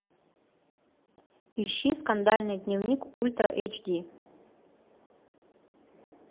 ищи скандальный дневник ультра эйч ди